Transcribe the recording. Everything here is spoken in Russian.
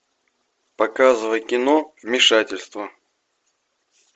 показывай кино вмешательство